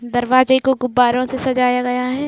दरवाजे को गुब्बारो से सजाया गया है।